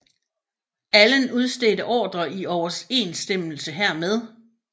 Allen udstedte ordrer i overensstemmelse hermed